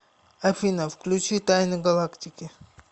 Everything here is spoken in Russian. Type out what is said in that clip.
афина включи тайны галактики